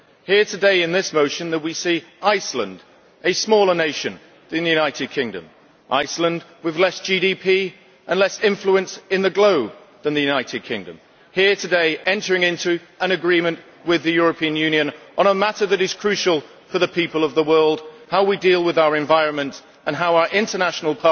Here today, in this motion, we see Iceland, a smaller nation than the United Kingdom Iceland with less GDP and less influence in the globe than the United Kingdom entering into an agreement with the European Union on a matter that is crucial for the people of the world how we deal with our environment and how our international